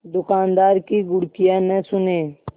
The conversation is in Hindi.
दुकानदार की घुड़कियाँ न सुने